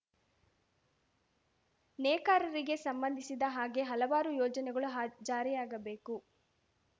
ನೇಕಾರರಿಗೆ ಸಂಬಂಧಿಸಿದ ಹಾಗೆ ಹಲವಾರು ಯೋಜನೆಗಳು ಹಾ ಜಾರಿಯಾಗಬೇಕು